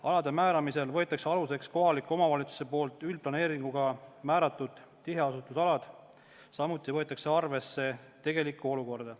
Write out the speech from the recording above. Alade määramisel võetakse aluseks kohaliku omavalitsuse üldplaneeringuga määratud tiheasustusalad, samuti võetakse arvesse tegelikku olukorda.